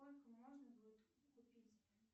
сколько можно будет купить